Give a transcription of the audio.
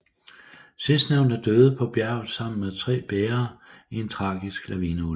Sidstnævnte døde på bjerget sammen med tre bærere i en tragisk lavineulykke